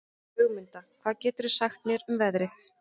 Ögmunda, hvað geturðu sagt mér um veðrið?